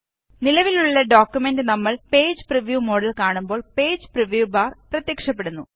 നിലവിലുള്ള ഡോക്കുമെന്റ് നമ്മള് page preview മോഡില് കാണുമ്പോള് പേജ് പ്രിവ്യൂ ബാര് പ്രത്യക്ഷപ്പെടുന്നു